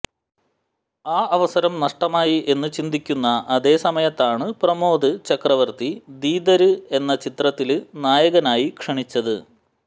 ആ അവസരം നഷ്ടമായി എന്ന് ചിന്തിക്കുന്ന അതേ സമയത്താണ് പ്രമോദ് ചക്രവര്ത്തി ദീദര് എന്നാ ചിത്ത്രത്തില് നായകനായി ക്ഷണിച്ചത്